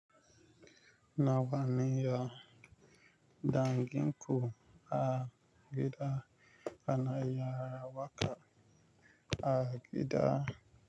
Nawa ne ya dangin ku a gida ana yi wa waka a gida?